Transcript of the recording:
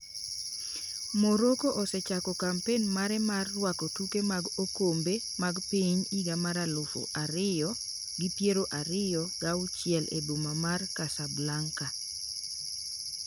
Morocco osechako kampen mare mar rwako tuke mag okombe mag Piny higa mar aluf ariyo gi piero ariyo ga auchiel e boma mar Casablanca.